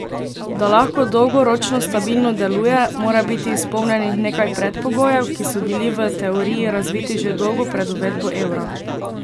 Da lahko dolgoročno stabilno deluje, mora biti izpolnjenih nekaj predpogojev, ki so bili v teoriji razviti že dolgo pred uvedbo evra.